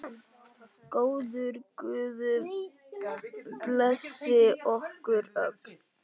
Góður guð blessi ykkur öll.